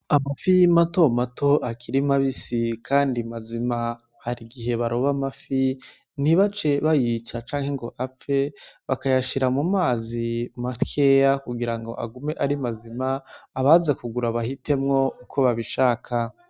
Amafi matomato akiri mabisi Kandi mazima har'igihe baroba amafi ntibace bayica canke ngo apfe bakayashira mu mazi makeya kugira agume ari mazima abaza kugura bahitemwo uko babishaka.